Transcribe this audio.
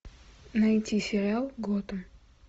найти сериал готэм